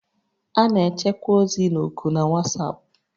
A na-echekwa ozi na oku na WhatsApp